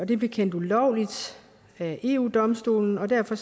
det blev kendt ulovligt af eu domstolen og derfor